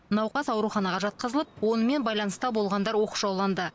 науқас аураханаға жатқызылып онымен байланыста болғандар оқшауланды